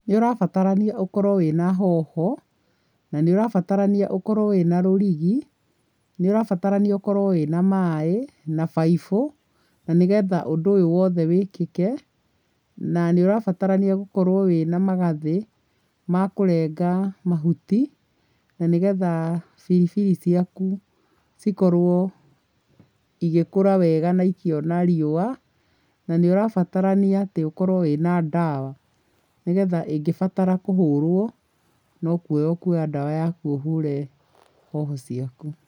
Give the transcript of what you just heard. Nĩũrabatarania ũkorwo wĩna hoho na nĩũrabatarania ũkorwo wĩna rũrigi, nĩũrabatarania ũkorwo wĩna maĩ na baibo na nĩ getha ũndũ ũyũ wothe wĩkĩke na níũrabatarania gũkorwo wĩna magathĩ ma kũrenga mahuti na nĩ getha biribiri ciaku cikorwo igĩkũra wega na ikĩona riũa na nĩ ũrabatarania atĩ ũkorwo wĩna dawa nĩgetha ĩngĩbatara kũhũrwo no kuoya ũkuoya dawa yaku ũhũre hoho ciaku.